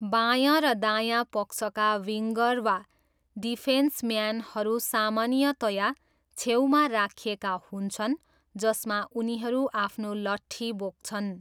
बायाँ र दायाँ पक्षका विङ्गर वा डिफेन्सम्यानहरू सामान्यतया छेउमा राखिएका हुन्छन् जसमा उनीहरू आफ्नो लठ्ठी बोक्छन्।